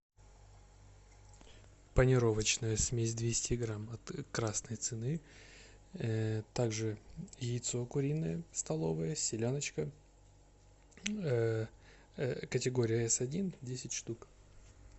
панировочная смесь двести грамм от красной цены также яйцо куриное столовое селяночка категория эс один десять штук